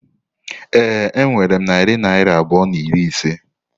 Ee, enwere m narị naira abụọ na iri ise.